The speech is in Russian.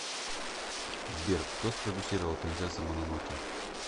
сбер кто спродюссировал принцесса мононоке